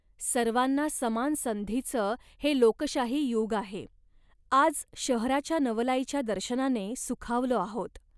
सर्वांना समान संधीचं हे लोकशाही युग आहे. आज शहराच्या नवलाईच्या दर्शनाने सुखावलो आहोत